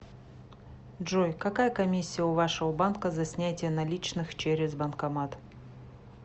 джой какая комиссия у вашего банка за снятие наличных через банкомат